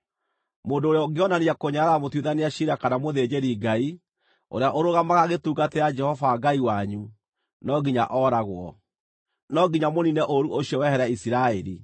Mũndũ ũrĩa ũngĩonania kũnyarara mũtuithania ciira kana mũthĩnjĩri-Ngai, ũrĩa ũrũgamaga agĩtungatĩra Jehova Ngai wanyu, no nginya ooragwo. No nginya mũniine ũũru ũcio wehere Isiraeli.